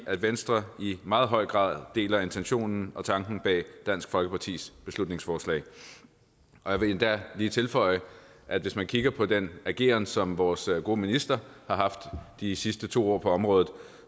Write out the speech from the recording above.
at venstre i meget høj grad deler intentionen og tanken bag dansk folkepartis beslutningsforslag jeg vil endda lige tilføje at hvis man kigger på den ageren som vores gode minister har haft de sidste to år på området